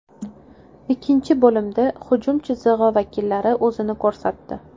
Ikkinchi bo‘limda hujum chizig‘i vakillari o‘zini ko‘rsatdi.